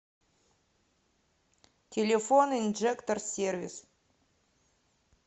телефон инжектор сервис